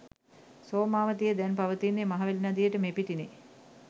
සෝමවතිය දැන් පවතින්නේ මහවැලි නදියට මෙපිටිනි.